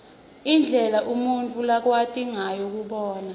indlela umuntfu lakwati ngayo kubona